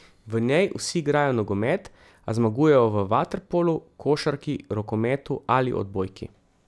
V njej vsi igrajo nogomet, a zmagujejo v vaterpolu, košarki, rokometu ali odbojki.